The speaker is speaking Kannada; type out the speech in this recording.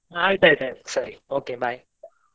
ಆಯ್ತಾಯ್ತು ಆಯ್ತು ಸರಿ, okay bye .